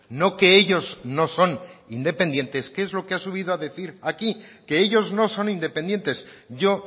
no que ellos no son independientes que es lo que ha subido a decir aquí que ellos no son independientes yo